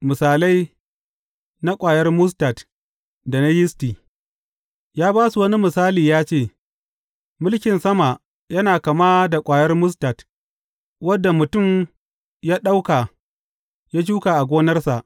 Misalai na ƙwayar mustad da na yisti Ya ba su wani misali ya ce, Mulkin sama yana kama da ƙwayar mustad, wadda mutum ya ɗauka ya shuka a gonarsa.